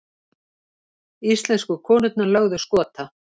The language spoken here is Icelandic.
Íslensku konurnar lögðu Skota